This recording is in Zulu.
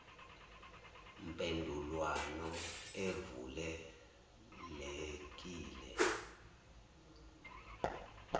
mpendulwano evule lekile